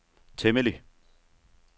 temmelig